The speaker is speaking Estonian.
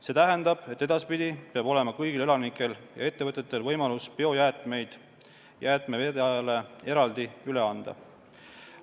See tähendab, et edaspidi peab olema kõigil elanikel ja ettevõtetel võimalus biojäätmeid jäätmevedajale eraldi üle anda.